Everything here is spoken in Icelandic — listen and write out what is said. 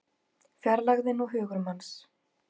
Fjarlægðin og hugur manns